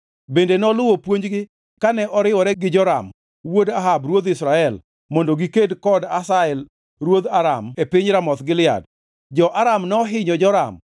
Bende noluwo puonjgi kane oriwore gi Joram wuod Ahab ruodh Israel mondo giked kod Hazael ruodh Aram e piny Ramoth Gilead. Jo-Aram nohinyo Joram;